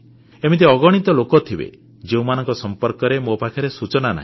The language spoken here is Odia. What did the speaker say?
ଏମିତି ଅଗଣିତ ଲୋକ ଥିବେ ଯେଉଁମାନଙ୍କ ସମ୍ପର୍କରେ ମୋ ପାଖରେ ସୂଚନା ନାହିଁ